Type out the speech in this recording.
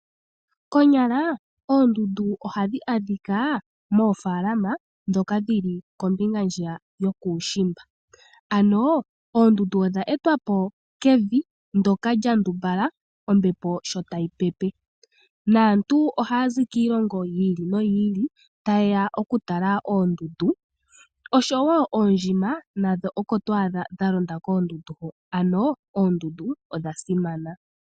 Konyala oondundu ohadhi adhika moofaalama ndhoka dhi li kombinga ndjiya yokuushimba. Ano oondundu odha etwa po kevi ndyoka lya ndumbala ombepo sho tayi pepe. Naantu ohaya zi kiilongo yi ili noyi ili taye ya okutala oondundu osho wo oondjima nadho oko to adha dha londa koondundu ho. Ano oondundu odha simana.